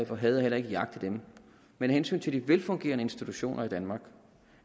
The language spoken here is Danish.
for had og heller ikke jagte dem men af hensyn til de velfungerende institutioner i danmark